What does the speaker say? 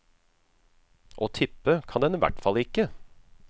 Og tippe kan den i hvert fall ikke.